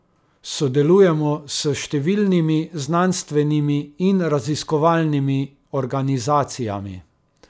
Sodelujemo s številnimi znanstvenimi in raziskovalnimi organizacijami.